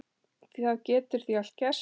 Það getur því allt gerst.